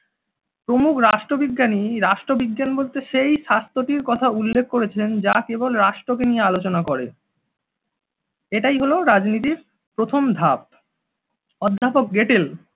প্রমূখ রাষ্ট্রবিজ্ঞানীর রাষ্ট্রবিজ্ঞান বলতে সেই শাস্ত্রটির কথা উল্লেখ করেছেন যা কেবল রাষ্ট্রকে নিয়ে আলোচনা করে এটাই হলো রাজনীতির প্রথম ধাপ। অধ্যাপক গেটেল